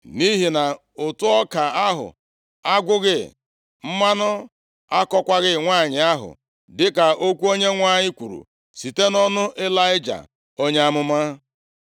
Nʼihi na ụtụ ọka ahụ agwụghị, mmanụ akọkwaghị nwanyị ahụ, dịka okwu Onyenwe anyị kwuru site nʼọnụ Ịlaịja, onye amụma.